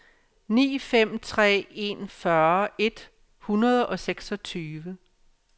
ni fem tre en fyrre et hundrede og seksogtyve